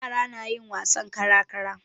Yara na yin wasan kara-kara.